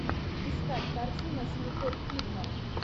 искать картину с николь кидман